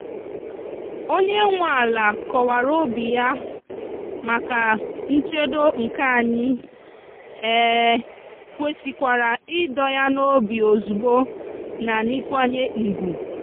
onye nwe ala kọwara obi ya maka nchedo nke anyi um kwesịkwara ido ya n’obi ozugbo na n'ikwanye ùgwù